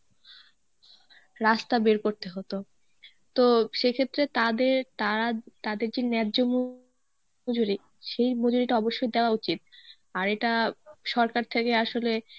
রাস্তা বের করতে হতো. তো সেই ক্ষেত্রে তাদের তারা তাদের যে ন্যায্য মজুরী সেই মজুরিটা অবশ্যই দেওয়া উচিত আর এটা সরকার থেকেই আসলে